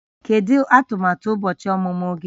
Kedu atụmatụ ụbọchị ọmụmụ gị?